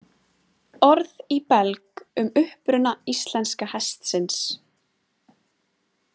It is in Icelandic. Orð í belg um uppruna íslenska hestsins